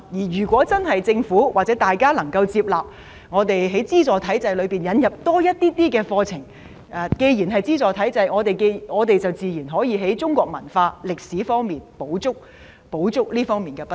如果政府或公眾能夠接納在資助體制下，引入多一些課程，既然是資助體制，我們自然可以補足在中國文化和歷史方面的不足。